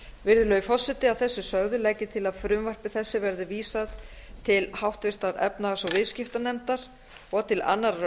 virðulegi forseti að þessu sögðu legg ég til að frumvarpi þessu verði vísað til háttvirtrar efnahags og viðskiptanefndar og til annarrar